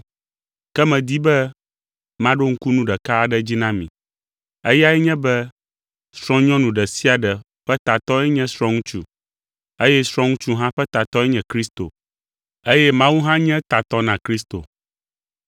Ke medi be maɖo ŋku nu ɖeka aɖe dzi na mi. Eyae nye be srɔ̃nyɔnu ɖe sia ɖe ƒe tatɔe nye srɔ̃ŋutsu, eye srɔ̃ŋutsu hã ƒe tatɔe nye Kristo, eye Mawu hã nye tatɔ na Kristo.